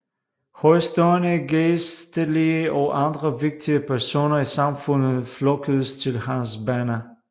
Højtstående gejstelige og andre vigtige personer i samfundet flokkedes til hans banner